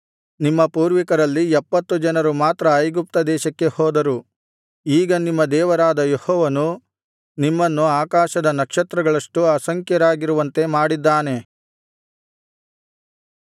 ನಿಮ್ಮ ಪೂರ್ವಿಕರಲ್ಲಿ ಎಪ್ಪತ್ತು ಜನರು ಮಾತ್ರ ಐಗುಪ್ತದೇಶಕ್ಕೆ ಹೋದರು ಈಗ ನಿಮ್ಮ ದೇವರಾದ ಯೆಹೋವನು ನಿಮ್ಮನ್ನು ಆಕಾಶದ ನಕ್ಷತ್ರಗಳಷ್ಟು ಅಸಂಖ್ಯರಾಗಿರುವಂತೆ ಮಾಡಿದ್ದಾನೆ